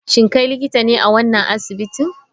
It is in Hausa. Shin kai likitan ne a wannan asibitin?